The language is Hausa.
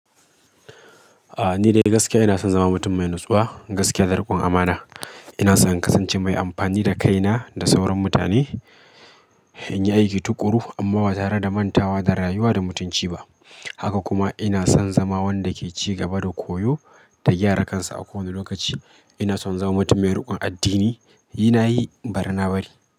A'a ni dai gaskiya ina son zama mutum mai natsuwa, gaskiya da riƙon amana. Ina son kasance mai amfani da kaina da sauran mutane, in yi aiki tuƙuru amma ba tare da manta wa da rayuwa da mutunci ba. Haka kuma ina son zama wanda ke cigaba da koyo da gyara kansa a kowane lokaci. Ina son zama mutum mai riƙon addini, yi na yi bari na bari.